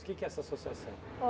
Do que que é essa associação?